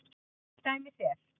Til dæmis er